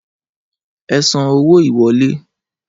Ẹ san owó ìwọlé!